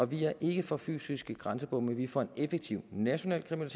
vi er ikke for fysiske grænsebomme vi er for en effektiv national